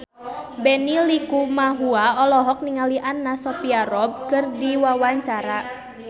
Benny Likumahua olohok ningali Anna Sophia Robb keur diwawancara